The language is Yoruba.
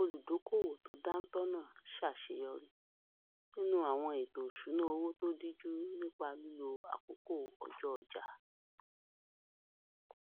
olùdókòwò tó dántọ náà ṣàṣeyọrí nínú àwọn ètò ìṣúnná owó tó díjú nípa lílo àkókò ọjọ ọjà